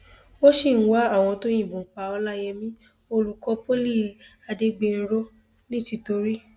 wọn sì ń wá àwọn tó yìnbọn pa ọlàyẹmí olùkọ poli adégbènrò nìtìtorí